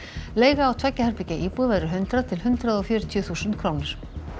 leiga á tveggja herbergja íbúð verður hundrað til hundrað og fjörutíu þúsund krónur